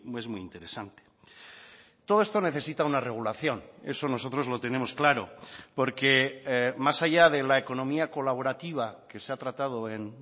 es muy interesante todo esto necesita una regulación eso nosotros lo tenemos claro porque más allá de la economía colaborativa que se ha tratado en